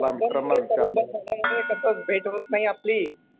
हो. कामामध्ये तसंच भेट होतं नाही आपली.